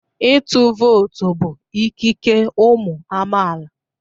Ịtụ vootu bụ ikike ụmụ amaala.